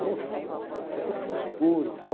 Poxa vida, óh, daqui a pouco fica escuro e tal.